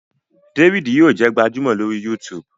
David yíò jé gbajúmò lori YouTube.